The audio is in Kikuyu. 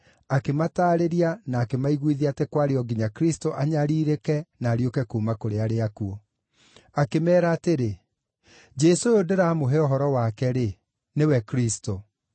akĩmataarĩria na akĩmaiguithia atĩ kwarĩ o nginya Kristũ anyariirĩke na ariũke kuuma kũrĩ arĩa akuũ. Akĩmeera atĩrĩ, “Jesũ ũyũ ndĩramũhe ũhoro wake-rĩ, nĩwe Kristũ.”